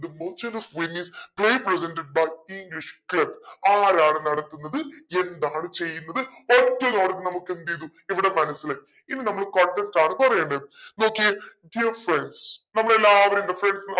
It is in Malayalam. the merchant of Venice play presented by english club ആരാണ് നടത്തുന്നത് എന്താണ് ചെയ്യുന്നത് ഒറ്റ നോട്ടത്തിൽ നമുക്കെന്തേയ്‌തു ഇവിടെ മനസ്സിലായി ഇനി നമ്മൾ content ആണ് പറയുന്നത് നോക്കിയേ dear friends നമ്മളെല്ലാരും എന്താ friends ന